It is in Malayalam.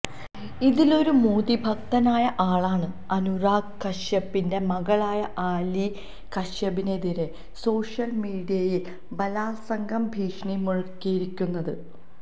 ഇതിലൊരു മോദി ഭക്തനായ ആളാണ് അനുരാഗ് കശ്യപിന്റെ മകളായ ആലിയ കശ്യപിനെതിരെ സോഷ്യല് മീഡിയയില് ബലാല്സംഗ ഭീഷണി മുഴക്കിയിരിക്കുന്നത്